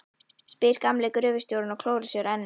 spyr gamli gröfustjórinn og klórar sér á enninu.